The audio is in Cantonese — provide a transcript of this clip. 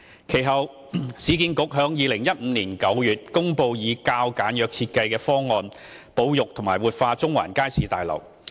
其後，市建局在2015年9月公布以較簡約設計方案保育和活化中環街市大樓。